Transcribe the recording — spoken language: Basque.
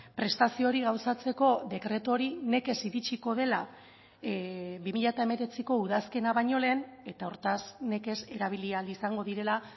prestazio hori gauzatzeko dekretu hori nekez iritsiko dela bi mila hemeretziko udazkena baino lehen eta hortaz nekez erabili ahal izango direla